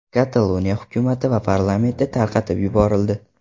Kataloniya hukumati va parlamenti tarqatib yuborildi.